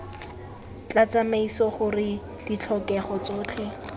tla tlhomamisa gore ditlhokego tsotlhe